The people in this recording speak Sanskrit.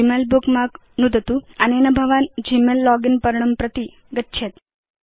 ग्मेल बुकमार्क नुदतु अनेन भवान् ग्मेल लोगिन् पर्णं प्रति गच्छेत्